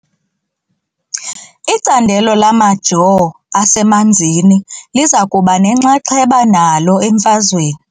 Icandelo lamajoo asemanzini liza kuba nenxaxheba nalo emfazweni .